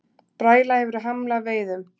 Bræla hefur hamlað veiðum